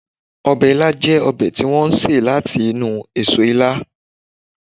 Ọbẹ̀ ila jẹ́ ọbẹ̀ tí wọ́n ṣe láti inú eso ila